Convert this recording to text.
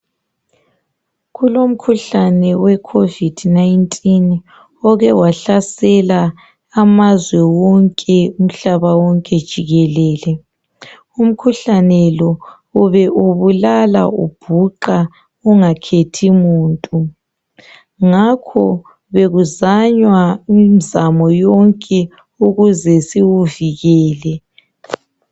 kulomkhuhlane we COVID 19 oke wahlasela amazwe wonke umhlaba wonke jikelele umkhuhlane lo ube ubulala ubhuqa ungakhethi muntu ngakho bekuzanywa imzamo yonke ukuze siwuvikele